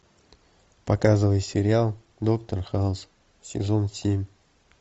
показывай сериал доктор хаус сезон семь